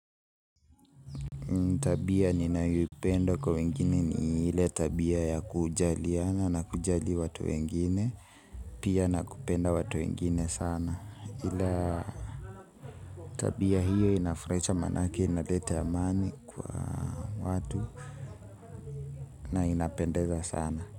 Tabia ninayo ipenda kwa wengine ni ile tabia ya kujalina na kujali watu wengine. Pia nakupenda watu wengine sana. Ila tabia hiyo inafurahisha manakie inaleta amani kwa watu na inapendeza sana.